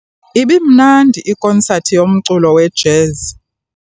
Ibimnandi ikonsathi yomculo we-jazz.